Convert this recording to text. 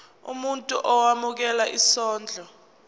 umuntu owemukela isondlo